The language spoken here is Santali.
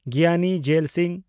ᱜᱤᱭᱟᱱᱤ ᱡᱮᱞ ᱥᱤᱝ